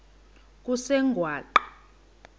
kusengwaqa